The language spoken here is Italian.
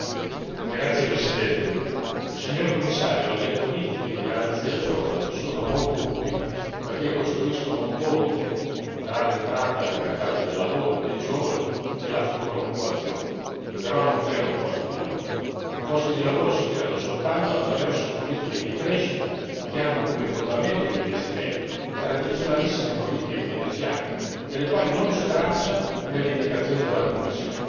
Signora Presidente, signor Commissario, le politiche di garanzia giovani sono molto utili perché costruiscono un ponte tra l'entrata nel mercato del lavoro dei giovani e la futura occupazione, ma non creano posti di lavoro i posti di lavoro si creano soltanto attraverso politiche di crescita che hanno come fondamento gli investimenti tradizionalissime politiche keynesiane delle quali non c'è traccia nelle indicazioni della Commissione.